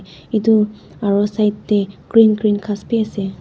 etu aro side deh green green ghas bi asey.